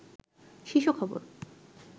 শীর্ষ খবর